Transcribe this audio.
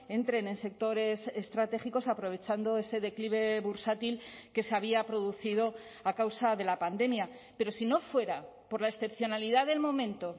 entren en sectores estratégicos aprovechando ese declive bursátil que se había producido a causa de la pandemia pero si no fuera por la excepcionalidad del momento